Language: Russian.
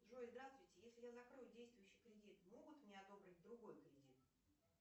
джой здравствуйте если я закрою действующий кредит могут мне одобрить другой кредит